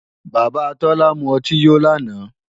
Bàbá Tọ́lá mú ọtí yó lánàá